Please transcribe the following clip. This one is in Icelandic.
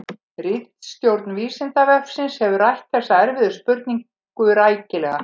Ritstjórn Vísindavefsins hefur rætt þessa erfiðu spurningu rækilega.